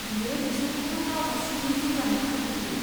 बेयो बिसोरखौ गाव हारसिङैनो जौगानो खाबु होयो।